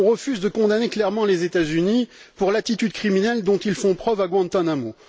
On refuse de condamner clairement les États Unis pour l'attitude criminelle dont ils font preuve à Guantánamo.